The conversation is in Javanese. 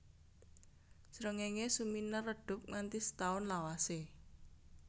Srengéngé suminar redhup nganti setaun lawasé